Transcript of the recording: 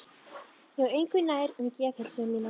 Ég var engu nær um geðheilsu mína.